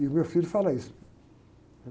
E o meu filho fala isso.